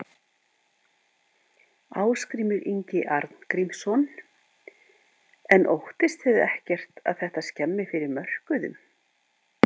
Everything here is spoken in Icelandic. Ásgrímur Ingi Arngrímsson: En óttist þið ekkert að þetta skemmi fyrir mörkuðum?